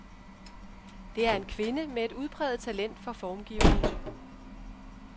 Det er en kvinde med et udpræget talent for formgivning.